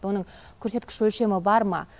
оның көрсеткіш өлшемі бар ма